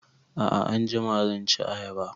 A'a anjima zan ci ayaba